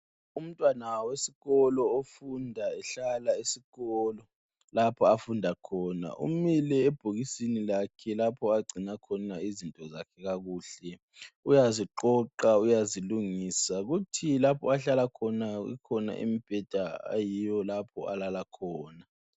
Umntwana wesikolo ofunda ehlala esikolo lapho afunda khona. Umile ebhokisini lakhe lapho agcina khona izinto zakhe kuhle. Uyaziqoqa, uyazilungisa kuthi lapho ahlala kukhona umbheda ayiwo alala khona.